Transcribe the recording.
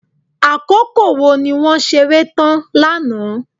Àkókò wo ni wọ́n ṣeré tán lánàá.